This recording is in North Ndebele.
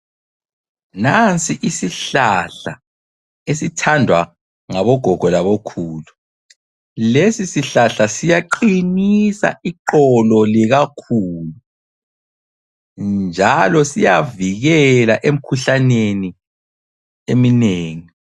Nansi isihlahla esithandwa ngabogogo labokhulu. Lesisihlahla siyaqinisa iqolo likakhulu njalo siyavikela emikhuhlaneni eminengi.